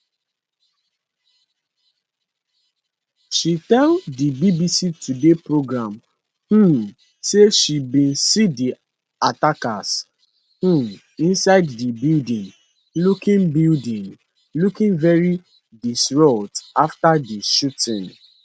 she tell di bbc today programme um say she bin see di attacker um inside di building looking building looking very distraught afta di shooting